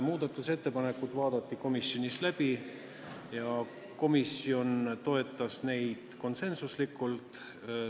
Muudatusettepanekud vaadati komisjonis läbi ja komisjon toetas neid konsensusega.